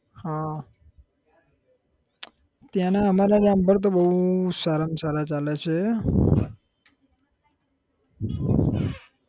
હા ત્યાં ના અમારા જામફળ તો બહુ સારા મ સારા ચાલે છે